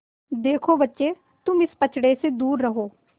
देखो बच्चे तुम इस पचड़े से दूर रहो